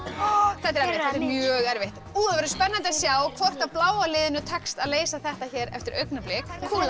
þetta er mjög erfitt nú verður spennandi að sjá hvort bláa liðinu tekst að leysa þetta eftir augnablik